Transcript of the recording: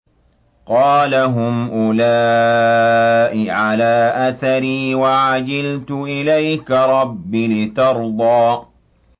قَالَ هُمْ أُولَاءِ عَلَىٰ أَثَرِي وَعَجِلْتُ إِلَيْكَ رَبِّ لِتَرْضَىٰ